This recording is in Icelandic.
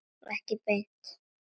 Ekki beint